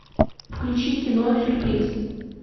включи кино сюрприз